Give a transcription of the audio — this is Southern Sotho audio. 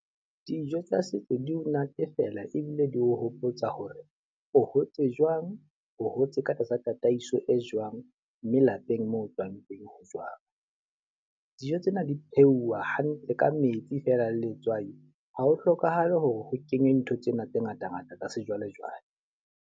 Dijo tsa setso di o natefela ebile di o hopotsa hore o hotse jwang, o hotse ka tlasa tataiso e jwang, mme lapeng moo o tswang teng ho jwang. Dijo tsena di pheuwa hantle ka metsi fela le letswai. Ha ho hlokahale hore ho kenywe ntho tsena tse ngatangata tsa sejwalejwale.